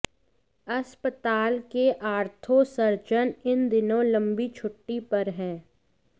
अस्पताल के ortho surgeon इन दिनों लंबी छुट्टी पर हैं